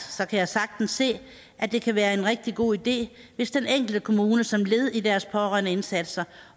kan jeg sagtens se at det kan være en rigtig god idé hvis den enkelte kommune som led i deres pårørendeindsatser